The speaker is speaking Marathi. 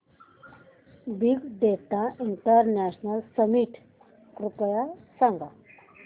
बिग डेटा इंटरनॅशनल समिट कृपया सांगा